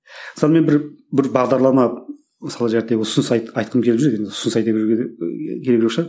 мысалы мен бір бір бағдарлама мысалы ұсыныс айтқым келіп жүр енді ұсыныс айта беруге де ііі керек жоқ шығар